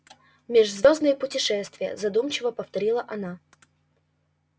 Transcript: межзвёздные путешествия задумчиво повторила она